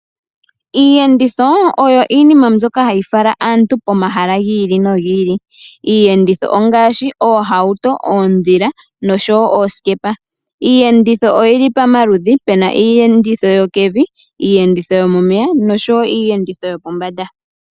Iiyenditho oyo iinima mbyoka hayi fala aantu pomahala gi ili nogi ili. Iiyenditho ongaashi oohauto, oondhila nosho wo oosikepa. Iiyenditho oyili pamaludhi puna iiyenditho yopevi, iiyenditho yomomeya osho wo iiyenditho yopombanda